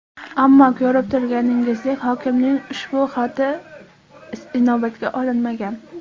Ammo ko‘rib turganingizdek, hokimning ushbu xati inobatga olinmagan.